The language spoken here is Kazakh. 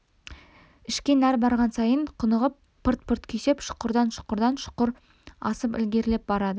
ішке нәр барған сайын құнығып пырт-пырт күйсеп шұқырдан шұқырдан шұқыр асып ілгерілеп барады